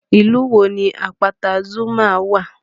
Ìlú wo ni àpáta Zuma wà?